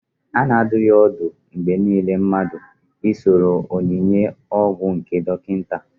A na adụ ya n'ọdụ mgbe niile mmadụ I soro onyinye ọgwụ nje dọkịta